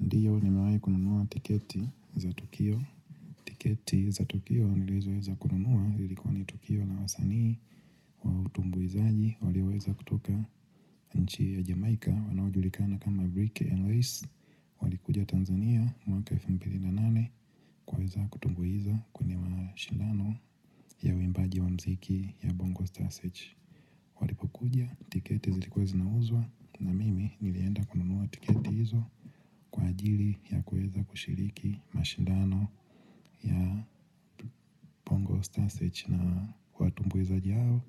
Ndiyo nimewai kununua tiketi za Tukio. Tiketi za Tukio nilizoweza kununua zilikuwa ni Tukio lawasanii wa utumbu izaji. Waliweza kutoka nchi ya Jamaica wanaujulikana kama Brick and Race. Walikuja Tanzania mwaka 2008 kuweza kutumbuiza kwenye mashindano ya uimbaji wa muziki ya Bongo Starsearch. Walipo kuja tiketi zilikuwa zinauzwa na mimi nilienda kununua tiketi izo kwa ajiri ya kuweza kushiriki. Mashindano ya bongo Star Search na watumbuizaji hao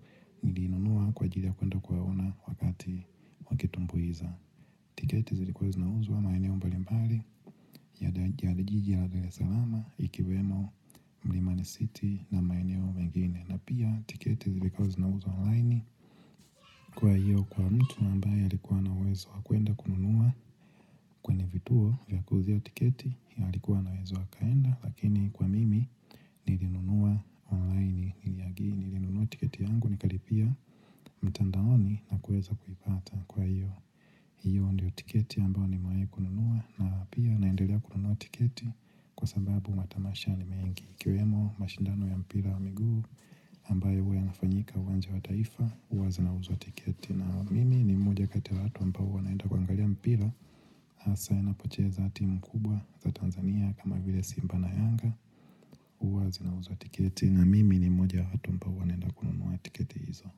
nilinunua kwaajili ya kwenda kuwaona wakati wakitumbuiza. Tiketi zilikuwa zinauzwa maeneo mbali mbali ya jiji la dar es salama ikiwemo mlimani city na maeneo mengine. Na pia tiketi zilikuwa zinauzwa online kwa hiyo kwa mtu ambaye alikuwa ana uwezo wa kuenda kununua. Kwenye vituo vya kuuzia tiketi alikuwa anaweza akaenda Lakini kwa mimi nilinunua online niliyagi nilinunua tiketi yangu Nikalipia mtandaoni na kuweza kuipata kwa hiyo hiyo ndiyo tiketi ambayo nimewai kununua na pia naendelea kununua tiketi Kwa sababu matamasha ni mengi iKiwemo mashindano ya mpira wa miguu ambayo huwa yanafanyika uwanja wa taifa huwa zinauzwa tiketi na mimi ni mmoja kati ya watu ambao wanaenda kuangalia mpira hasa inapocheza timu kubwa za Tanzania kama vile simba na yanga huwa zinauzwa tiketi na mimi ni mmoja ya watu ambao huwa naenda kununua tiketi hizo.